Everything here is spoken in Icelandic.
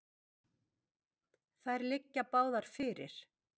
Þær liggi báðar fyrir.